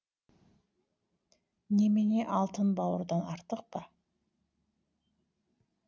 немене алтын бауырдан артық па